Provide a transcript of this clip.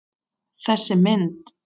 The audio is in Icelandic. Þessi mynd